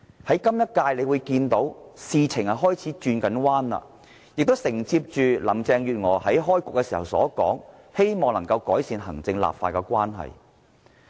在今屆立法會，事情開始有好轉，而林鄭月娥在開局時也說，希望能夠改善行政立法關係。